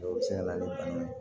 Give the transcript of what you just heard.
O bɛ se ka na ni bana ye